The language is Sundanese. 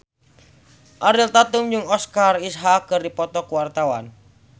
Ariel Tatum jeung Oscar Isaac keur dipoto ku wartawan